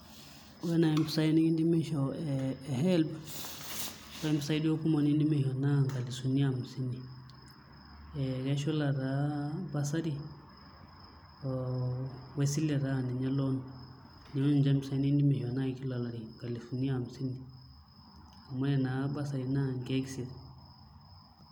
Ore naai mpisai nikindimi aishoo e HELB naa ore mpisaai duo kumok nikidimi aishoo naa nkalifuni amisini ee keshula taa bursary oo esile taa aa ninye loan, neeku ninche mpisaai nikindimi aishoo naai kila olari, nkalifuni amisini amu ore naa bursary naa nkeek isiet.